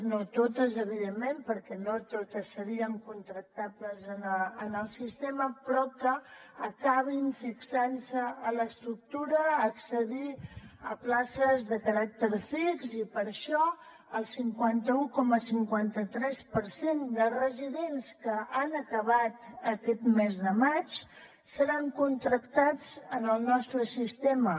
no totes evidentment perquè no totes serien contractables en el sistema però que acabin fixant se a l’estructura a accedir a places de caràcter fix i per això el cinquanta un coma cinquanta tres per cent de residents que han acabat aquest mes de maig seran contractats en el nostre sistema